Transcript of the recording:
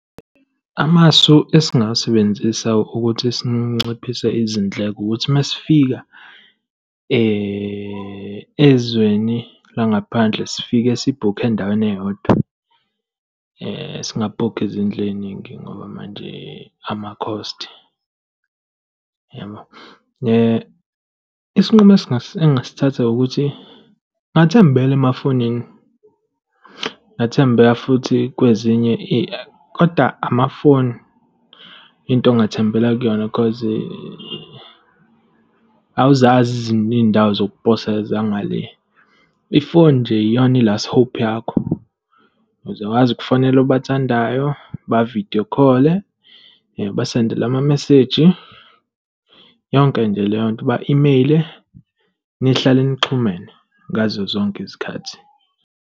Amasu esingawasebenzisa ukuthi sinciphise izindleko ukuthi masifika ezweni langaphandle, sifike sibhukhe endaweni eyodwa. Singakhokhi izindlu ey'ningi ngoba manje ama-cost, yabo. Isinqumo engasithatha ukuthi ngingathembele emafonini, ngingathembela futhi kwezinye , koda amafoni into ongathembela kuyona, cause awuzazi ezinye iy'ndawo zokuposa zangale. I-phone nje iyona i-last hope yakho, uzokwazi ukufonele obathandayo. Uba-video call-e, ubasendela amameseji, yonke nje leyo nto. Uba-emeyile, nihlale nixhumene ngazo zonke izikhathi.